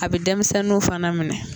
A bi denmisɛnnu fana minɛ